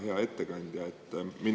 Hea ettekandja!